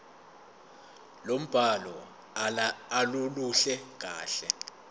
lombhalo aluluhle kahle